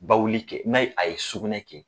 Bawuli kɛ n'a a ye sugunɛ kɛ.